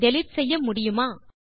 delete செய்ய முடியுமா